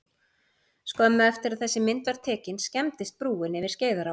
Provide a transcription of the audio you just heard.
Skömmu eftir að þessi mynd var tekin skemmdist brúin yfir Skeiðará.